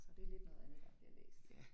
Så det lidt noget andet, der bliver læst